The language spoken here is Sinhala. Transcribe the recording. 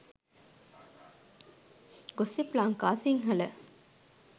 gossip lanka sinhala